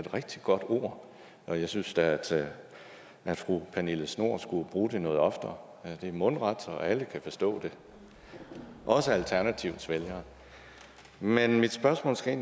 rigtig godt ord og jeg synes da at fru pernille schnoor skulle bruge det noget oftere det er mundret og alle kan forstå det også alternativets vælgere men mit spørgsmål skal